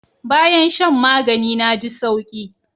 Bayan shan magani na ji sauki.